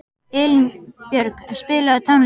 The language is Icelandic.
Elínbjörg, spilaðu tónlist.